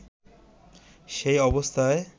সেই অবস্থায়